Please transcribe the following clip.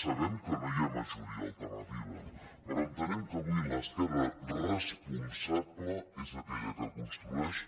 sabem que no hi ha majoria alternativa però entenem que avui l’esquerra responsable és aquella que construeix